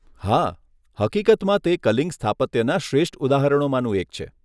હા, હકીકતમાં તે કલિંગ સ્થાપત્યના શ્રેષ્ઠ ઉદાહરણોમાંનું એક છે.